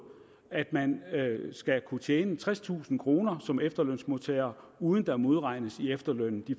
at man skal kunne tjene tredstusind kroner som efterlønsmodtager uden at der modregnes i efterlønnen de